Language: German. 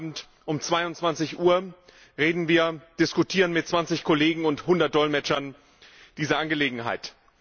Und heute Abend, um 22 Uhr, reden und diskutieren wir mit 20 Kollegen und 100 Dolmetschern diese Angelegenheit.